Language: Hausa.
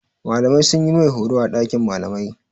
Malamai sun yi mai horo a ɗakin malamai.